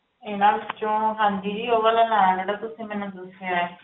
ਇਹਨਾਂ ਵਿੱਚੋਂ, ਹਾਂਜੀ ਜੀ ਉਹ ਵਾਲਾ ਲੈਣਾ ਜਿਹੜਾ ਤੁਸੀਂ ਮੈਨੂੰ ਦੱਸਿਆ ਹੈ।